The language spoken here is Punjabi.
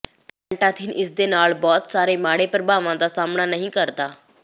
ਪੈਨਟਾਥੀਨ ਇਸਦੇ ਨਾਲ ਬਹੁਤ ਸਾਰੇ ਮਾੜੇ ਪ੍ਰਭਾਵਾਂ ਦਾ ਸਾਹਮਣਾ ਨਹੀਂ ਕਰਦਾ